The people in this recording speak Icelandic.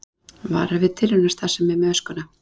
Varar við tilraunastarfsemi með öskuna